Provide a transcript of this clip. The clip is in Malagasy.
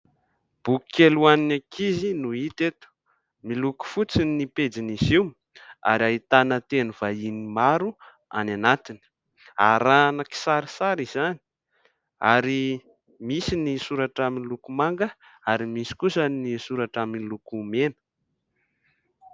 Boky kely ho an'ny ankizy no hita eto. Miloko fotsy ny ny pejin'izy io ary ahitana teny vahiny maro any anatiny. Arahana kisarisary izany ary misy ny soratra miloko manga, ary misy kosa ny soratra miloko mena.